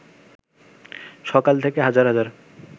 সকাল থেকে হাজার হাজার